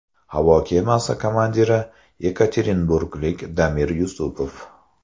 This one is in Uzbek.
Havo kemasi komandiri yekaterinburglik Damir Yusupov.